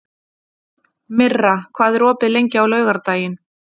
Myrra, hvað er opið lengi á laugardaginn?